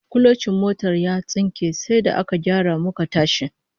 Kulocin motar ya tsinke sai da aka gyara muka tashi